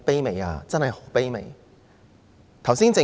這真是很卑微的要求。